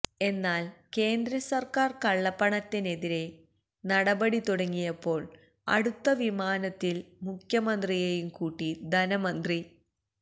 എന്നാല് കേന്ദ്രസര്ക്കാര് കള്ളപ്പണത്തിനെതിരെ നടപടി തുടങ്ങിയപ്പോള് അടുത്ത വിമാനത്തില് മുഖ്യമന്ത്രിയേയും കൂട്ടി ധനമന്ത്രി ഡോ